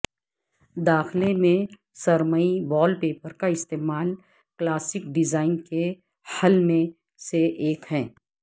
داخلہ میں سرمئی وال پیپر کا استعمال کلاسک ڈیزائن کے حل میں سے ایک ہے